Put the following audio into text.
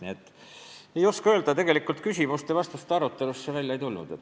Nii et ma ei oska rohkemat öelda, küsimuste ja vastuste ajal midagi välja ei tulnud.